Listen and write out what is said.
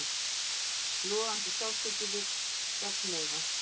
Logandi sársauki við gagnauga.